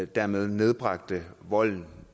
dermed nedbragte volden